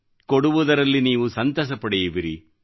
ಕೊಡುವುದರಲ್ಲಿ ನೀವು ಸಂತೋಷ ಪಡೆಯುವಿರಿ